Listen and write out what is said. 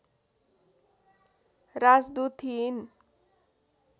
राजदूत थिइन्